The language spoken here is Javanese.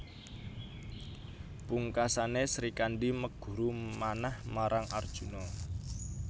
Pungkasané Srikandhi meguru manah marang Arjuna